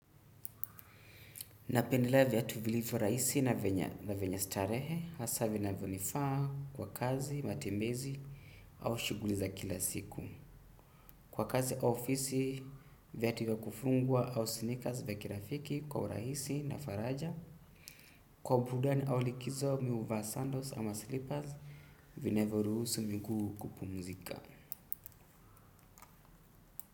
Napendea viatu tuvilivu rahisi na venye starehe, hasa vinavyo nifaa kwa kazi, matembezi au shughuli za kila siku. Kwa kazi ofisi, viatu vya kufungwa au sneakers vya kirafiki kwa uraisi na faraja. Kwa bueudani au likizo mi huvaa sandals ama sleepers, vinavyo ruhusu miguu kupumzika.